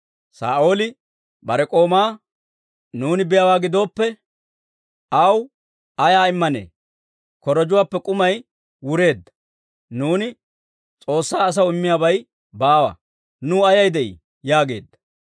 Saa'ooli bare k'oomaa, «Nuuni biyaawaa gidooppe, aw ay immanee? Korojjuwaappe k'umay wureedda; nuuni S'oossaa asaw immiyaabay baawa. Nuw ayay de'ii?» yaageedda.